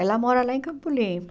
Ela mora lá em Campo Limpo.